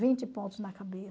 Vinte pontos na